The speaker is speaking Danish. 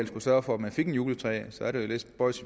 skulle sørge for at de fik et juletræ i så er det lidt spøjst